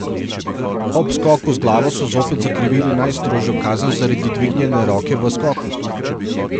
Ob skoku z glavo so zopet zakrivili najstrožjo kazen zaradi dvignjene roke v skoku.